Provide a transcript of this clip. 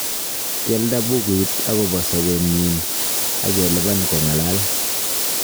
Kialda buuguut agobo sobeenyin ageliban kogalal.